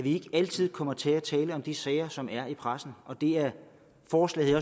ikke altid kommer til at tale om de sager som er i pressen og det er forslaget